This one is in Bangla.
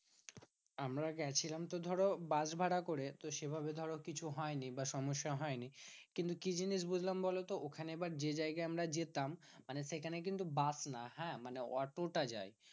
আমরা গেছিলাম তো ধরো বাস ভাড়া করে। তো সেভাবে ধরো কিছু হয়নি বা সমস্যা হয়নি। কিন্তু কি জিনিস বুঝলাম বলতো? ওখানে এবার যে জায়গায় আমরা যেতাম, মানে সেখানে কিন্তু বাস না হ্যাঁ অটো টা যায়।